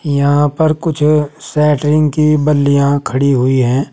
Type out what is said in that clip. यहां पर कुछ शेटरिंग की बल्लियां खड़ी हुई हैं।